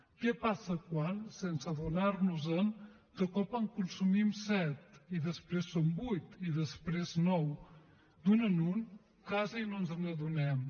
què passa quan sense adonar nos en de cop en consumim set i després són vuit i després nou d’un en un quasi no ens n’adonem